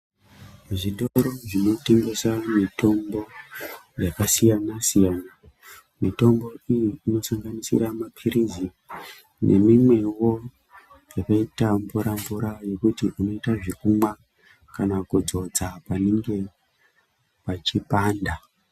Zvitoro zvinotengesa mitombo yakasiyana-siyana . Mitombo iyi inosanganisira mapirizi nemimwewo yakaita mvura - mvura yekuti unota zvekumwa kana kudzodza panenge pachipanda.